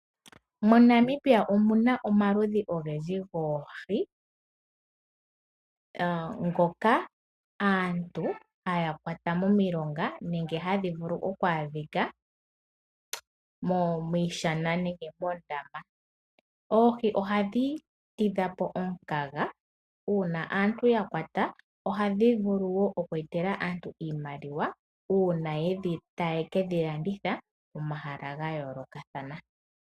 MoNamibia omuna omaludhi ogendji goohi ngoka aantu haya kwata momilonga nenge hadhi vulu oku adhika miishana nenge moondama. Oohi ohadhi tidha po omukaga, uuna aantu ya kwata ohadhi vulu wo oku etela aantu oshimaliwa uuna ta ye ke dhi landitha pomahala ga yoolokathana.